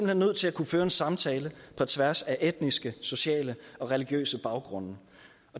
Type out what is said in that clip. hen nødt til at kunne føre en samtale på tværs af etniske sociale og religiøse baggrunde